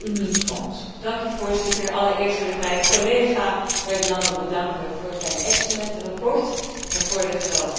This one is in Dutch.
Voorzitter, allereerst wil ik mijn collega Bernd Lange bedanken voor zijn uitstekende verslag en voor de geweldige samenwerking.